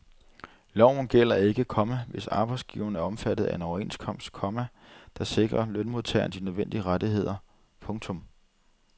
Loven gælder ikke, komma hvis arbejdsgiveren er omfattet af en overenskomst, komma der sikrer lønmodtageren de nødvendige rettigheder. punktum